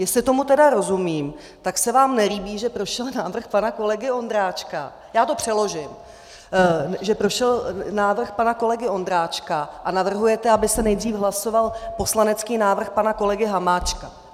Jestli tomu tedy rozumím, tak se vám nelíbí, že prošel návrh pana kolegy Ondráčka, já to přeložím, že prošel návrh pana kolegy Ondráčka, a navrhujete, aby se nejdřív hlasoval poslanecký návrh pana kolegy Hamáčka.